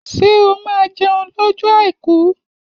Ṣé o máa jẹun lọ́jọ́ àìkú?